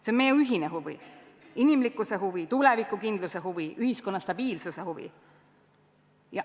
See on meie ühine huvi, inimlikkuse huvi, tuleviku kindluse huvi, ühiskonna stabiilsuse huvi.